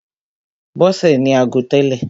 Bọ́sè ní ago tẹ́lè.